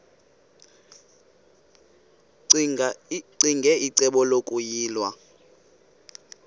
ccinge icebo lokuyilwa